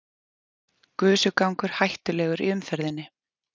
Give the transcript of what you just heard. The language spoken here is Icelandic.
Gusugangur hættulegur í umferðinni